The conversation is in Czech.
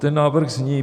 Ten návrh zní: